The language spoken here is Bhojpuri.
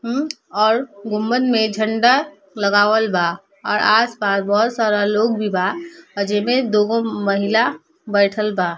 हम्म और गुम्बद में झंडा लगावल बा और आस-पास बहोत सारा लोग भी बा अ जे में दो गो महिला बैठल बा।